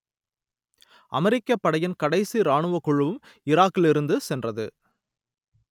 அமெரிக்கப் படையின் கடைசி இராணுவக் குழுவும் ஈராக்கிலிருந்து சென்றது